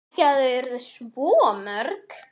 Ekki að þau yrðu svo mörg.